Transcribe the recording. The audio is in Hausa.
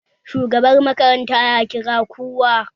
Shugaban makaranta ya kira kowa